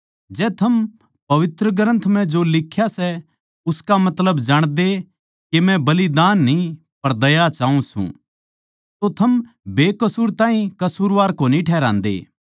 जै थम पवित्र ग्रन्थ म्ह जो लिख्या सै उसका मतलब जाणदे के मै माणसां म्ह दया तै राज्जी होऊँ सूं बलिदान तै न्ही तो थम बेकसूर ताहीं कसूरवार कोनी ठहरान्दे